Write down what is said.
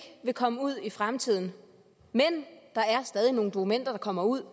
vil komme ud i fremtiden men der er stadig nogle dokumenter der kommer ud